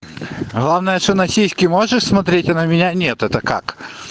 главная что на сиськи можешь смотреть а на меня нет это как